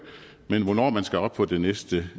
men hvornår man skal op på det næste